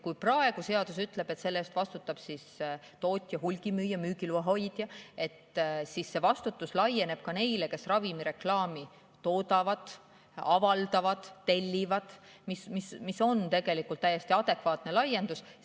Kui praegu seadus ütleb, et selle eest vastutab tootja, hulgimüüja, müügiloa hoidja, siis nüüd see vastutus laieneb ka neile, kes ravimireklaami toodavad, avaldavad, tellivad, mis on tegelikult täiesti adekvaatne laiendus.